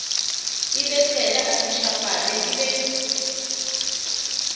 ebesela a ntjhafale e be